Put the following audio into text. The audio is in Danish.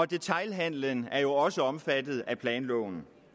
detailhandelen er jo også omfattet af planloven